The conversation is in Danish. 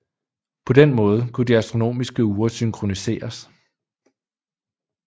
På den måde kunne de astronomiske ure synkroniseres